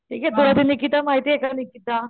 ठीकेनिकिता माहितेय का निकिता?